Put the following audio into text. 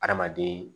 Adamaden